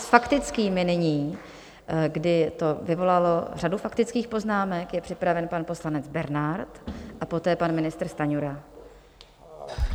S faktickými nyní, kdy to vyvolalo řadu faktických poznámek, je připraven pan poslanec Bernard a poté pan ministr Stanjura.